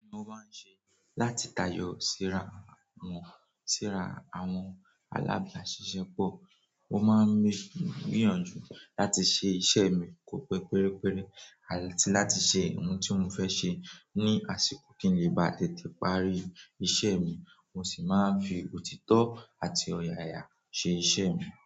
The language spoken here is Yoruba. Ohun ni mo máa ń sẹ láti tayọ síra wọn, síra àwọn alábàáṣiṣẹ́ pọ̀. Mo máa ń gbìyànjú láti ṣe iṣẹ́ mi ko pe pérépéré àti láti ṣe ohun tí mo fẹ́ ṣe ní àsìkò kí n lè ba tètè parí iṣẹ́ mi. Mo sì máa ń fi òtítọ́ àti ọ̀yààyà ṣe iṣẹ́ mi.